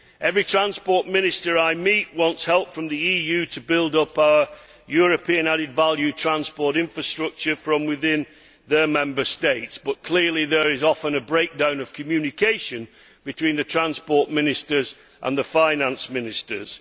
Every transport minister I meet wants help from the EU to build up a European added value transport infrastructure from within their Member States, but clearly there is often a breakdown of communication between the transport ministers and the finance ministers.